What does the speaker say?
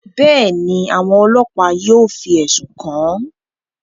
Bẹẹni, awọn ọlọpa yóò fi ẹsun kan an.